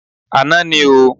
Àná ní o.